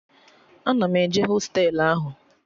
Ana m eje hostelu ahụ